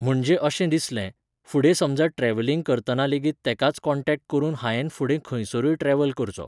म्हणजे अशें दिसलें, फुडें समजा ट्रॅवलिंग करतना लेगीत तेकाच कॉन्टॅक्ट करून हायेन फुडें खंयसरूय ट्रॅवल करचो